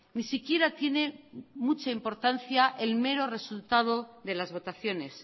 ni siquiera tiene mucha importancia el mero resultado de las votaciones